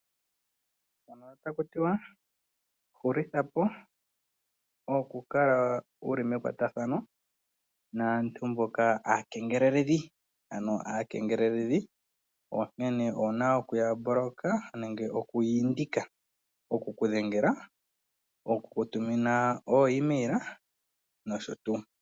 Mpano ota ku tiwa hulitha po okukala wu li mekwatathano naantu mboka aakengeleledhi. Ano aakengeleledhi onkene owu na oku ya mboloka nenge oku ya indika oku ku dhengela, oku ku tumina oo email nosho tuu.